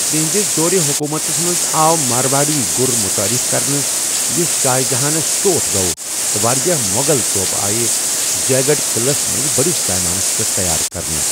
تہنٛدِس دورِ حکومتس منٛز آو مارواڑی گُر مُتعٲرف کرنہٕ یُس شاہ جہاں نَس ٹوٹھ گوٚو تہٕ واریاہ مغل توپہٕ آیہٕ جئے گڑھ قٕلعس منٛز بٔڑِس پیمانس پٮ۪ٹھ تیار کرنہٕ۔